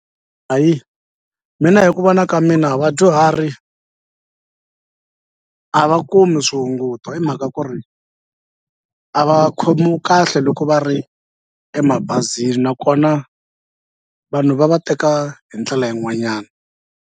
Hayi mina hi ku vona ka mina vadyuhari a va kumi swihunguto hi mhaka ku ri a va khomiwi kahle loko va ri emabazini nakona vanhu va va teka hi ndlela yin'wanyana.